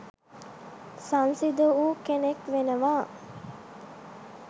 සංසිඳවූ කෙනෙක් වෙනවා